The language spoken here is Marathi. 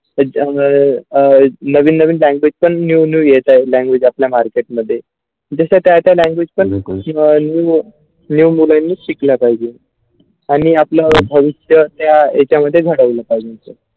Generation नवीन नवीन language पण new new येत्या language आपल्या market मध्ये जशा त्याचा language पण बिलकुल किंवा new new language शिकले पाहिजे आणि आपल्या भविष्य त्या ह्याच्यामध्ये घडवले पाहिजे.